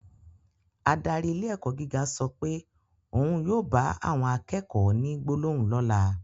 Adarí ilé ẹ̀kọ́ gíga sọ pé òun yóò bá àwọn akẹ́kọ̀ọ́ ní gbólóhùn lọ́la